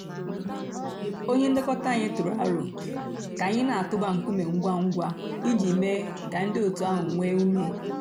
ònyè nlèkò̩tà ànyị̀ tụrụ̀ àrò̩ kà a nà-̀tụ̀bà ńkùmé̀ ngwá ngwá íjì mée kà ńdí ọ̀tù àhụ̀ nwee ǔmè.